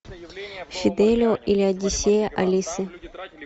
фиделио или одиссея алисы